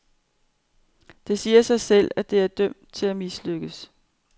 Det siger sig selv, at det er dømt til at mislykkes.